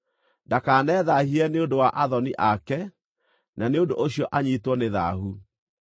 Ndakanethaahie nĩ ũndũ wa athoni ake, na nĩ ũndũ ũcio anyiitwo nĩ thaahu.